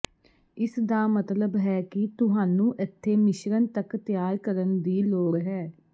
ਇਸ ਦਾ ਮਤਲਬ ਹੈ ਕਿ ਤੁਹਾਨੂੰ ਏਥੇ ਮਿਸ਼੍ਰਣ ਤੱਕ ਤਿਆਰ ਕਰਨ ਦੀ ਲੋੜ ਹੈ